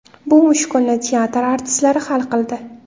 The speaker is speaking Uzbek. Bu mushkulni teatr artistlari hal qildi.